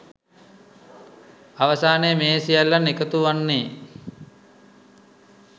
අවසානයේ මේ සියල්ලන් එකතුවන්නේ